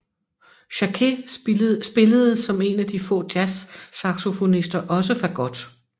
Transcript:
Jacquet spillede som en af de få jazzsaxofonister også Fagot